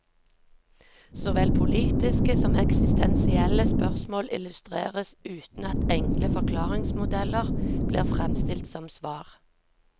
Såvel politiske som eksistensielle spørsmål illustreres, uten at enkle forklaringsmodeller blir fremstilt som svar.